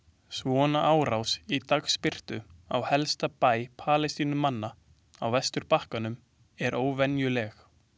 Svona árás í dagsbirtu á helsta bæ Palestínumanna á vesturbakkanum er óvenjuleg.